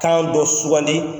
Kan dɔ sugandi